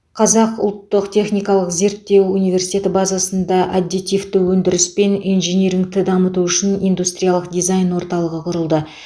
қазақ ұлттық техникалық зерттеу университеті базасында аддитивті өндіріс пен инжинирингті дамыту үшін индустриялық дизайн орталығы құрылды